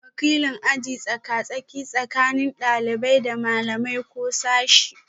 Wakilin aji tsaka-tsaki tsakanin ɗalibai da malamai ko sashe